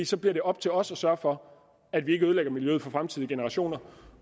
så bliver det op til os at sørge for at vi ikke ødelægger miljøet for fremtidige generationer